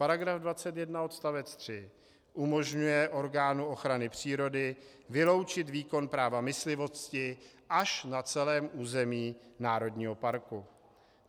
Paragraf 21 odst. 3 umožňuje orgánu ochrany přírody vyloučit výkon práva myslivosti až na celém území národního parku.